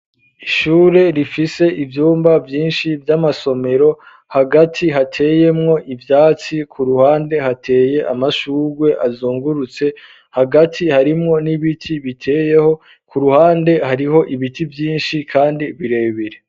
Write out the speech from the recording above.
Ishure rifise ivyumba ,vyinshi ,vy'amasomero ,hagati hateyemwo ivyatsi ,ku ruhande hateye amashurwe azungurutse ,hagati harimwo n'ibiti biteyeho ,ku ruhande hariho ibiti vy'inshi kandi birebere.